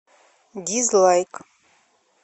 дизлайк